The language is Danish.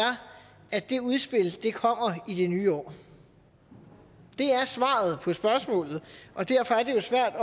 at det udspil kommer i det nye år det er svaret på spørgsmålet og derfor er det jo svært